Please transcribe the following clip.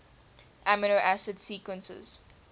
amino acid sequences